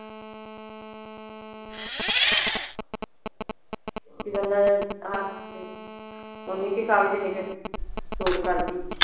ਬੰਦਾ ਓਨੀ ਕੀ ਹੀ ਖਾਵੇ ਜਿੰਨੀ ਕ ਕਰਦੀ।